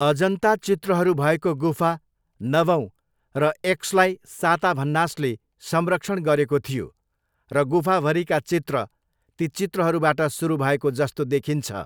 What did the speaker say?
अजन्ता चित्रहरू भएको गुफा नवौँ र एक्सलाई साताभन्नासले संरक्षण गरेको थियो र गुफाभरिका चित्र ती चित्रहरूबाट सुरु भएको जस्तो देखिन्छ।